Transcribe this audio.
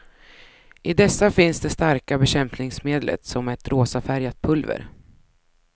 I dessa finns det starka bekämpningsmedlet, som är ett rosafärgat pulver.